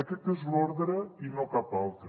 aquest és l’ordre i no cap altre